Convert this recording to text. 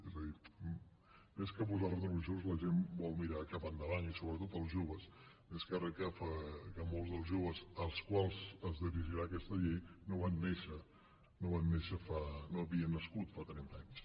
és a dir més que posar retrovisors la gent vol mirar cap endavant i sobretot els joves més que re que molts dels joves als quals es dirigirà aquesta llei no havien nascut fa trenta anys